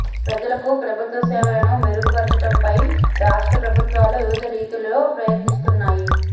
ప్రజలకు ప్రభుత్వ సేవలను మెరుగుపరచటంపై రాష్ట్ర ప్రభుత్వాలు వివిధ రీతుల్లో ప్రయత్నిస్తున్నాయి